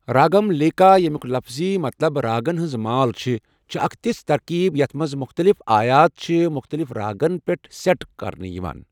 راگملیکا، ییٚمیُک لفٕظی مطلب راگَن ہٕنٛز مال چھِ، چھِ اکھ تژھ ترکیب یَتھ منٛز مُختٔلِف آیات چھِ مُختٔلِف راگَن پٮ۪ٹھ سیٹ کرنہٕ یوان۔